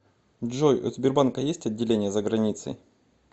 джой у сбербанка есть отделения за границей